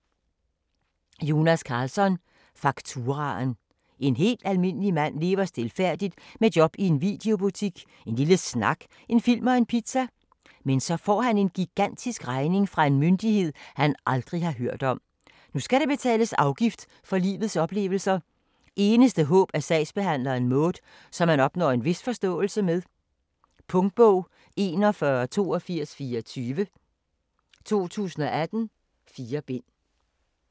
Karlsson, Jonas: Fakturaen En helt almindelig mand lever stilfærdigt med job i en videobutik, en lille snak, en film og en pizza. Men så får han en gigantisk regning fra en myndighed, han aldrig har hørt om. Nu skal der betales afgift for livets oplevelser. Eneste håb er sagsbehandleren Maud, som han opnår en vis forståelse med. Punktbog 418224 2018. 4 bind.